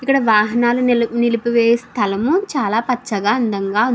ఇక్కడ వాహనల్లు నిలిపి వేయు స్తలం చాల పచ్చగా అందంగా --